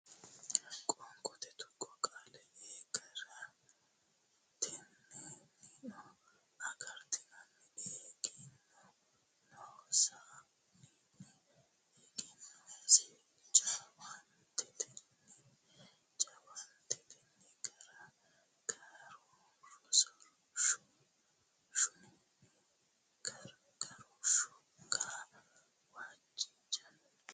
Qoonqote Tuqqo Qaale a ga ra ten ni no agaratennino e gen non san ni egennonsanni ja waan te ten ni jawaantetenni gar ga roosh shun ni gargarooshshunni ga waj jan.